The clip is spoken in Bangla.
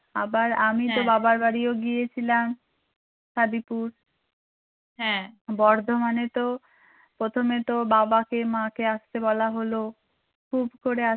আবার আমি তো বাবার বাড়িও গিয়েছিলাম হাদীপুর বর্ধমানে তো প্রথমে তো বাবাকে মা কে আসতে বলা হলো খুব করে আসতে